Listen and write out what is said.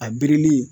A birili